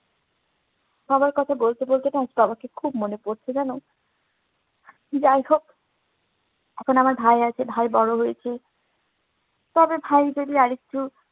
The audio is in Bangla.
বাবার কথা বলতে বলতে না বাবাকে খুব মনে পড়ছে। জানো? যাইহোক এখন আমার ভাই হয়েছে, ভাই বড় হয়েছে তবে ভাই যদি আরেকটু